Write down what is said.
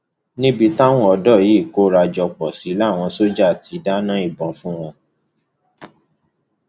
níbi táwọn ọdọ yìí kóra jọ pọ sí làwọn sójà ti dáná ìbọn fún wọn